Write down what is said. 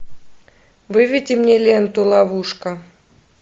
выведи мне ленту ловушка